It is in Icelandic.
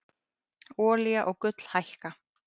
Olía og gull hækka